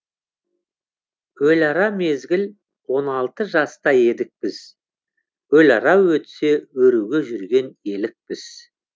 өліара мезгіл он алты жаста едік біз өліара өтсе өруге жүрген елікпіз